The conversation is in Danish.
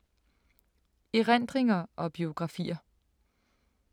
Erindringer og biografier